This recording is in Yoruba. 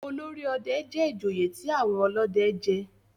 olórí òde jé ìjòyè tí àwọn olóde jé.